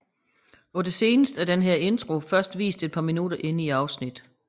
På det seneste er denne intro dog først vist et par minutter inde i afsnittet